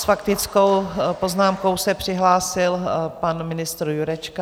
S faktickou poznámkou se přihlásil pan ministr Jurečka.